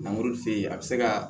a bɛ se ka